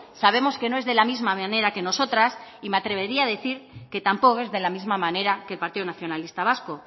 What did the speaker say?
sabemos que no es de la misma manera que nosotras y me atrevería a decir que tampoco es de la misma manera que el partido nacionalista vasco